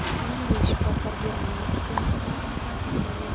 Shuningdek, shifokor Germaniya hukumatini ham tanqid qilgan.